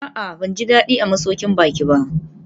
A'a, ban ji daɗi a masaukin baƙi ba